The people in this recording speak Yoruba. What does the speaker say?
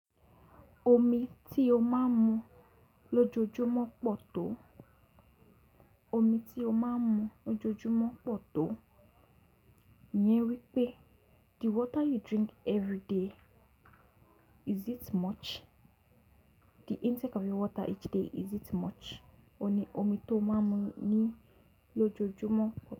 Omi tí o máa ń mu lójoojúmọ́ pọ̀ tó. Omi tí o máa ń mu lójoojúmọ́ pọ̀ tó. Yẹn wí pé the water you drink every day, is it much? The intake of your water each day is it much? Òní omi tó o máa ń mu ni lójoojúmọ́.